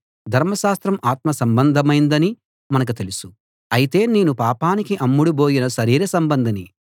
ధర్మశాస్త్రం ఆత్మ సంబంధమైందని మనకు తెలుసు అయితే నేను పాపానికి అమ్ముడుబోయిన శరీర సంబంధిని